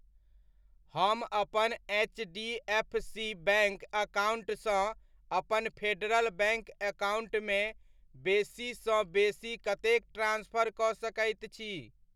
हम अपन H D F C bank account सँ अपन फेडरल बैङ्क अकाउण्ट मे बेसीसँ बेसी कतेक ट्रांस्फर कऽ सकैत छी?